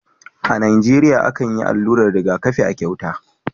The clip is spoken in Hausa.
A Nijeriya akan yi allurar rigakafi a cauta